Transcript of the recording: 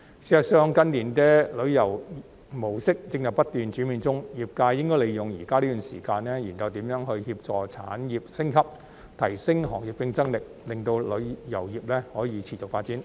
事實上，近年的旅遊模式正在不斷轉變中，業界應該利用現在這段時間，研究如何協助產業升級，提升行業競爭力，令旅遊業可持續發展。